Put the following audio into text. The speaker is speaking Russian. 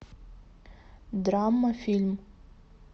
драма фильм